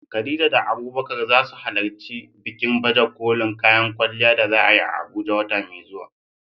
Khadija da Abubakar za su halarci bikin baje kolin kayan kwalliya da za a yi a Abuja wata mai zuwa.